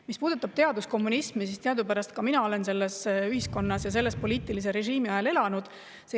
Mis puudutab teaduslikku kommunismi, siis teadupärast olen ka mina selles ühiskonnas ja selle poliitilise režiimi ajal elanud.